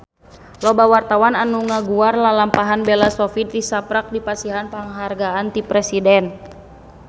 Loba wartawan anu ngaguar lalampahan Bella Shofie tisaprak dipasihan panghargaan ti Presiden